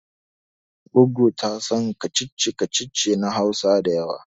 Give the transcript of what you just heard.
Goggo ta tasan kacici kacici na Hausa da yawa